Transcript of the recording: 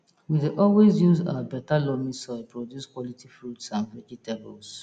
we dey always use our beta loamy soil produce quality fruits and vegetables